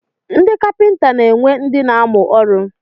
Ndị kapịnta na-enwe ndị na-amụ ọrụ.